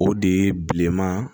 O de ye bileman